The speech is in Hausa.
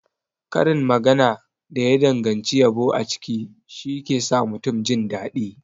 Karin magana da ya danganci yabo a ciki shike sa mutum jindaɗi.